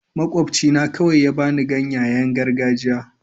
Makwabcina kawai ya ba ni ganyayen gargajiya.